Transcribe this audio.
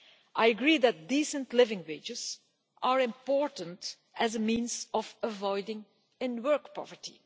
I agree that decent living wages are important as a means of avoiding in work poverty.